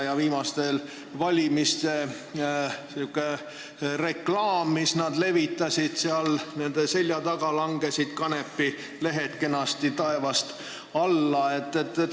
Viimaste valimiste ajal langesid sellel reklaamil, mida nad levitasid, nende selja taga kanepilehed kenasti taevast alla.